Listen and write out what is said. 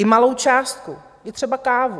I malou částku, i třeba kávu.